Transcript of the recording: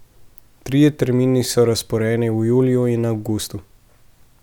Trije termini so razporejeni v juliju in avgustu.